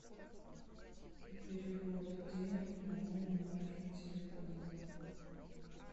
перевод денег на мой номер телефона